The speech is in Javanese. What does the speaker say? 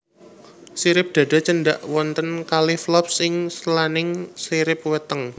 Sirip dada cendhak wonten kalih flops ing selaning sirip weteng